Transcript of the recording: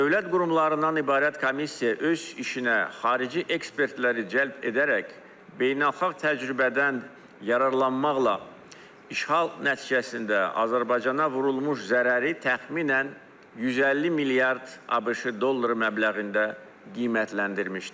Dövlət qurumlarından ibarət komissiya öz işinə xarici ekspertləri cəlb edərək beynəlxalq təcrübədən yararlanmaqla işğal nəticəsində Azərbaycana vurulmuş zərəri təxminən 150 milyard ABŞ dolları məbləğində qiymətləndirmişdir.